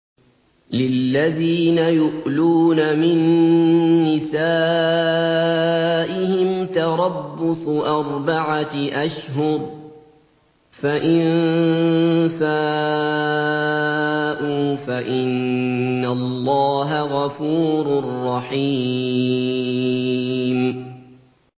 لِّلَّذِينَ يُؤْلُونَ مِن نِّسَائِهِمْ تَرَبُّصُ أَرْبَعَةِ أَشْهُرٍ ۖ فَإِن فَاءُوا فَإِنَّ اللَّهَ غَفُورٌ رَّحِيمٌ